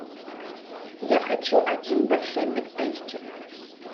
я хочу один большой биг тейсти